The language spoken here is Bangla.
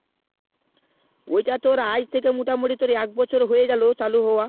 ওইটা তোর আজ থেকে মোটা মতি একবছর হয়ে গেলো চালু হওয়া